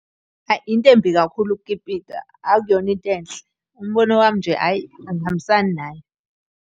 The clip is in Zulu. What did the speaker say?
Hhayi, into embi kakhulu ukukipita, akuyona into enhle. Umbono wami nje hhayi, angihambisani nayo.